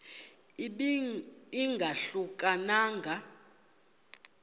ibe ingahluka nanga